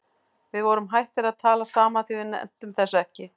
Við vorum hættir að tala saman því við nenntum þessu ekki.